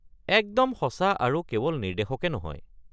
একদম সঁচা আৰু কেৱল নিৰ্দেশকে নহয়।